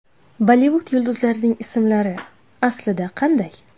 Bollivud yulduzlarining ismlari aslida qanday?.